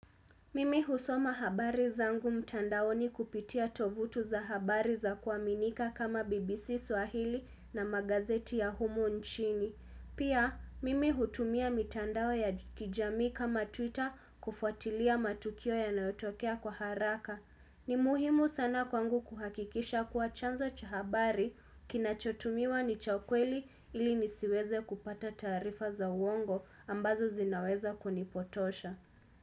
Mimi husoma habari zangu mtandaoni kupitia tovutu za habari za kuaminika kama BBC Swahili na magazeti ya humo nchini. Pia, mimi hutumia mitandao ya kijamii kama Twitter kufuatilia matukio yanayotokea kwa haraka. Ni muhimu sana kwangu kuhakikisha kuwa chanzo cha habari kinachotumiwa ni cha kweli ili nisiweze kupata taarifa za uongo ambazo zinaweza kunipotosha.